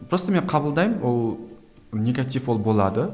просто мен қабылдаймын ол негатив ол болады